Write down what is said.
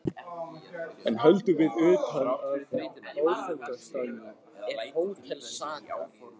Enn höldum við út, og áfangastaðurinn er Hótel Saga.